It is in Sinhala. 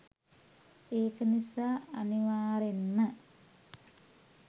ඒක නිසා අනිවාරෙන්ම